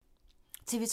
TV 2